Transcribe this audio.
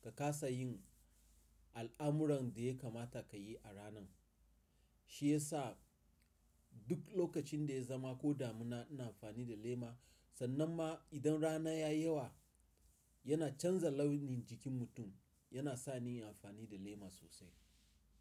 ka kasa yin al'amuran da ya kamata ka yi a rana. Shi ya sa duk lokacin da ya zama ko damina ina amfani da lema. Sannan ma idan rana ya yi yawa yana canza launin jikin mutum, yana sa ni in yi amfani da lema sosai.